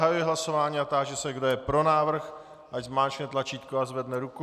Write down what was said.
Zahajuji hlasování a táži se, kdo je pro návrh, ať zmáčkne tlačítko a zvedne ruku.